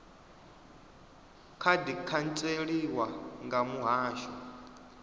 kha di khantseliwa nga muhasho